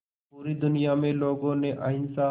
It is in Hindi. पूरी दुनिया में लोगों ने अहिंसा